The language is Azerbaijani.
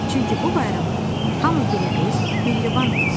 Çünki bu bayramda hamı güləriz, mehriban olur.